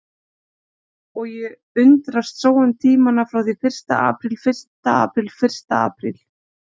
Og ég undrast sóun tímanna frá því fyrsta apríl fyrsta apríl fyrsta apríl.